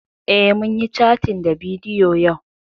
Eh, mun yi cattin ta bidiyo yau